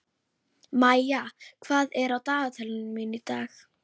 Maía, hvað er á dagatalinu mínu í dag?